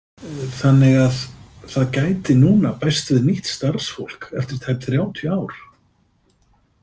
Þannig að það gæti núna bæst við nýtt starfsfólk eftir tæp þrjátíu ár?